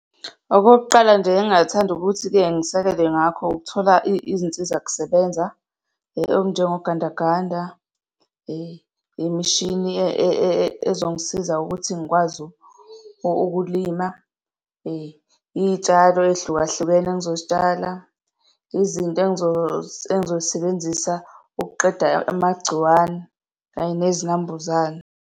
Okokuqala nje engingathanda ukuthi-ke ngisekele ngakho, ukuthola izinsizakusebenza okunjengogandaganda, imishini ezongisiza ukuthi ngikwazi ukuthi ukulima, iy'tshalo ey'hlukahlukene engizozitshala, izinto engizoy'sebenzisa ukuqeda amagciwane kanye nezinambuzane.